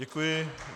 Děkuji.